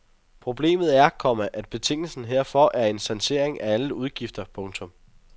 Problemet er, komma at betingelsen herfor er en sanering af alle udgifter. punktum